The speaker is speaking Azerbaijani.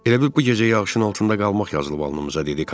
Elə bil bu gecə yağışın altında qalmaq yazılıb alınımıza, dedi Kamilo.